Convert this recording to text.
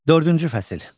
Dördüncü fəsil.